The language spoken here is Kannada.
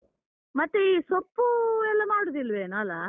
ಮತ್ತೆ ಈ ಸೊಪ್ಪು ಎಲ್ಲ ಮಾಡುದಿಲ್ವೇನೋ ಅಲ.